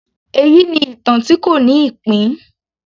Èyí ni ìtàn tí kò ní ìpín